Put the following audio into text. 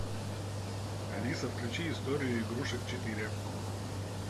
алиса включи историю игрушек четыре